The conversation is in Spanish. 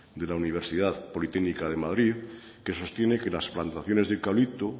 de la universidad politécnica de madrid que sostiene que las plantaciones de eucalipto